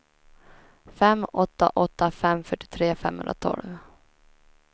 fem åtta åtta fem fyrtiotre femhundratolv